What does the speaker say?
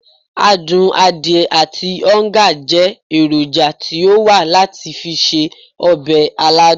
Adun adiye ati oonga je eroja ti o wa lati fi se obe aladun.